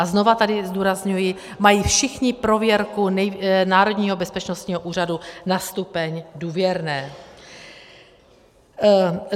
A znova tady zdůrazňuji, mají všichni prověrku Národního bezpečnostního úřadu na stupeň důvěrné.